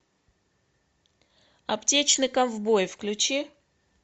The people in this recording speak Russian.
аптечный ковбой включи